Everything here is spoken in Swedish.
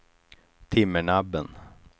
Timmernabben